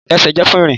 Ẹsẹ jẹ fun irin.